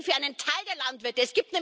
Sie reden für einen Teil der Landwirte.